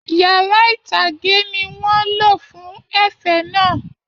Yàrá itage ní wọn lọ fún ẹ̀fẹ̀ náà.